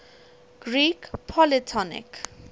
greek polytonic